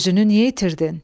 Özünü niyə itirdin?